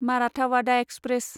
Marathwada express